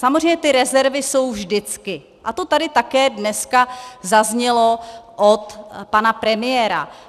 Samozřejmě ty rezervy jsou vždycky a to tady také dneska zaznělo od pana premiéra.